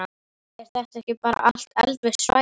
Er þetta ekki bara allt eldvirkt svæði?